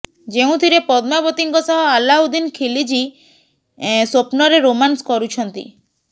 ଯେଉଁଥିରେ ପଦ୍ମାବତୀଙ୍କ ସହ ଆଲାଉଦ୍ଦିନ ଖିଲଜି ସ୍ୱପ୍ନରେ ରୋମାନ୍ସ କରୁଛନ୍ତି